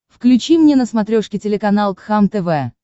включи мне на смотрешке телеканал кхлм тв